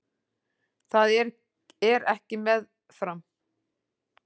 Það er ekki með farm